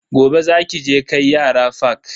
Gobe za ki je kai yara fak.